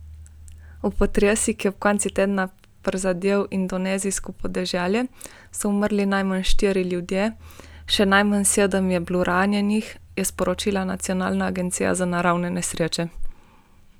V potresu, ki je ob koncu tedna prizadel indonezijsko podeželje, so umrli najmanj štirje ljudje, še najmanj sedem je bilo ranjenih, je sporočila nacionalna agencija za naravne nesreče.